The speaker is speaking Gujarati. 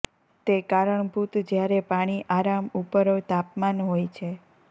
તે કારણભૂત જ્યારે પાણી આરામ ઉપર તાપમાન હોય છે